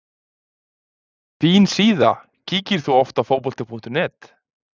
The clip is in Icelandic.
Fín síða Kíkir þú oft á Fótbolti.net?